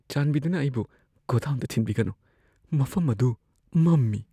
ꯆꯥꯟꯕꯤꯗꯨꯅ ꯑꯩꯕꯨ ꯒꯣꯗꯥꯎꯟꯗ ꯊꯤꯟꯕꯤꯒꯅꯨ ꯫ ꯃꯐꯝ ꯑꯗꯨ ꯃꯝꯃꯤ꯫